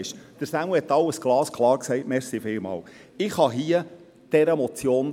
Und ja, das haben wir hier besprochen.